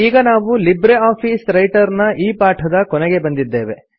ಈಗ ನಾವು LibreOffice Writer ನ ಈ ಪಾಠದ ಕೊನೆಗೆ ಬಂದಿದ್ದೇವೆ